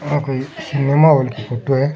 आ कोई cinema hall की फोटो है।